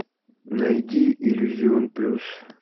найди иллюзион плюс